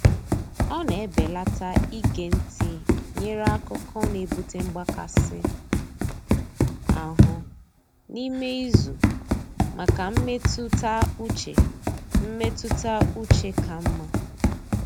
Ọ na-ebelata ige ntị nyere akụkọ n'ebute mgbakasị ahụ n'ime izu maka mmetụta uche mmetụta uche ka mma.